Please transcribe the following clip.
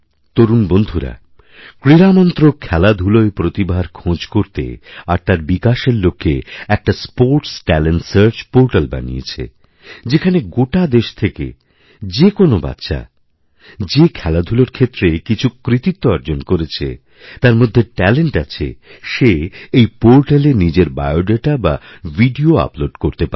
তরুণ বন্ধুরাক্রীড়া মন্ত্রক খেলাধুলোয় প্রতিভার খোঁজ করতে আর তার বিকাশের লক্ষ্যে একটা স্পোর্টসট্যালেন্ট সার্চ পোর্টাল বানিয়েছে যেখানে গোটা দেশ থেকে যে কোনো বাচ্চা যেখেলাধুলোর ক্ষেত্রে কিছু কৃতিত্ব অর্জন করেছে তার মধ্যে ট্যালেন্ট আছে সে এইপোর্টালে নিজের বায়োডাটা বা ভিডিও আপলোড করতে পারে